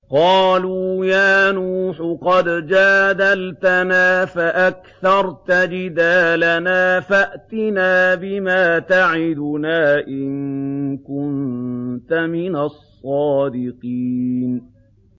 قَالُوا يَا نُوحُ قَدْ جَادَلْتَنَا فَأَكْثَرْتَ جِدَالَنَا فَأْتِنَا بِمَا تَعِدُنَا إِن كُنتَ مِنَ الصَّادِقِينَ